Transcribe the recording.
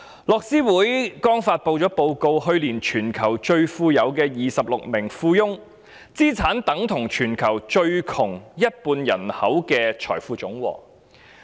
樂施會剛發布了一份報告，指出去年全球最富有的26名富翁的資產總值，已等同全球最窮一半人口的財富總和。